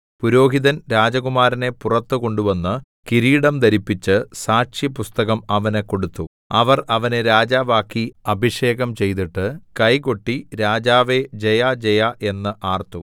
പുരോഹിതൻ രാജകുമാരനെ പുറത്തു കൊണ്ടുവന്ന് കിരീടം ധരിപ്പിച്ച് സാക്ഷ്യപുസ്തകം അവന് കൊടുത്തു അവർ അവനെ രാജാവാക്കി അഭിഷേകം ചെയ്തിട്ട് കൈകൊട്ടി രാജാവേ ജയജയ എന്ന് ആർത്തു